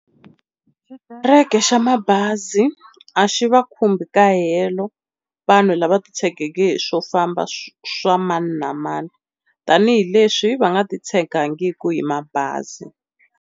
Xitereke xa mabazi a xi va khumbi ka helo vanhu lava titshegeke hi swo famba swa mani na mani tanihileswi va nga titshegangiki hi mabazi.